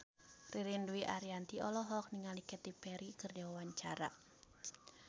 Ririn Dwi Ariyanti olohok ningali Katy Perry keur diwawancara